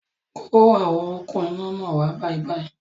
Kó àwọn okún iná náà wá bàìbàì!